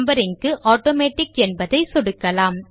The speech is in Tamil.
நம்பரிங் க்கு ஆட்டோமேட்டிக் என்பதை சொடுக்கலாம்